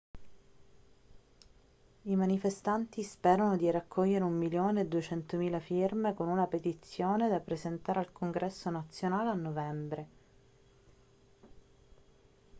i manifestanti sperano di raccogliere un milione e duecentomila firme con una petizione da presentare al congresso nazionale a novembre